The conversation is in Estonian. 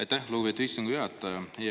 Aitäh, lugupeetud istungi juhataja!